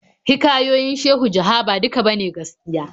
Hikayoyin Shehu Jaha ba duka ba ne gaskiya.